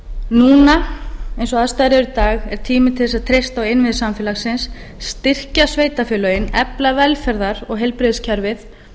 núna eins og aðstæður eru í dag er tími til þess að treysta á innviði samfélagsins styrkja sveitarfélögin efla velferðar og heilbrigðiskerfið